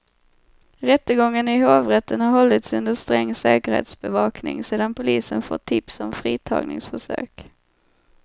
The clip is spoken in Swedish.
Rättegången i hovrätten har hållits under sträng säkerhetsbevakning sedan polisen fått tips om fritagningsförsök.